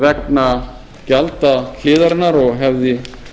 vegna gjaldahliðarinnar og hefði